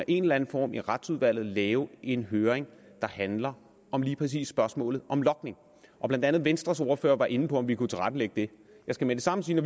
i en eller anden form i retsudvalget kan lave en høring der handler om lige præcis spørgsmålet om logning blandt andet venstres ordfører var inde på om vi kunne tilrettelægge det jeg skal med det samme sige at